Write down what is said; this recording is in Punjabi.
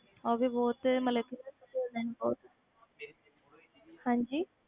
ਉਹ ਵੀ ਬਹੁਤ ਮਤਲਬ ਕਿ ਬਹੁਤ ਹਾਂਜੀ